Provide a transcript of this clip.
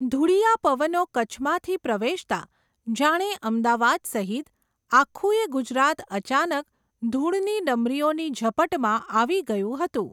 ધુળીયાં પવનો કચ્છમાંથી પ્રવેશતાં, જાણે અમદાવાદ સહિત, આખુય ગુજરાત અચાનક ધુળની ડમરીઓની ઝપટમાં આવી ગયું હતુ.